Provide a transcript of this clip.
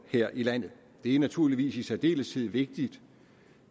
her i landet det er naturligvis i særdeleshed vigtigt